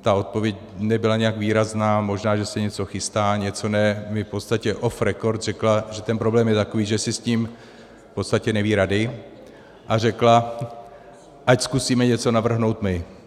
ta odpověď nebyla nijak výrazná - možná, že se něco chystá, něco ne - mi v podstatě off record řekla, že ten problém je takový, že si s tím v podstatě neví rady, a řekla, ať zkusíme něco navrhnout my.